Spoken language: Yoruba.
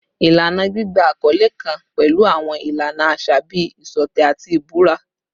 Ilana gbigba akọle kan pẹlu awọn ilana aṣa bii iṣọtẹ ati ibura